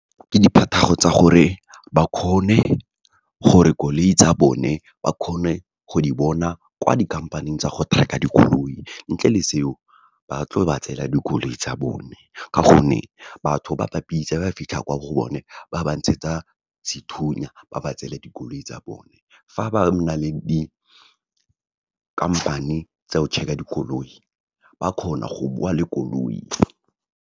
Ke tsa gore, ba kgone gore koloi tsa bone ba kgone go di bona, kwa dikhamphane tsa go tracker dikoloi. Ntle le seo, ba tlo ba tseela dikoloi tsa bone, ka gonne batho ba bapisa fa ba fitlha kwa go bone, ba ba ntshetsa sethunya, ba ba tsele dikoloi tsa bone. Fa ba na le dikhamphane tsa go checker dikoloi, ba kgona go boa le koloi.